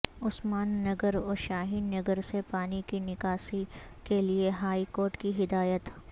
عثمان نگر و شاہین نگر سے پانی کی نکاسی کیلئے ہائی کورٹ کی ہدایت